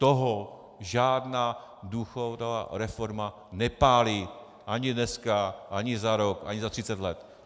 Toho žádná důchodová reforma nepálí ani dneska, ani za rok, ani za 30 let.